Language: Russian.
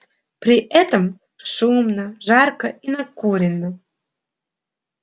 при этом шумно жарко и накурено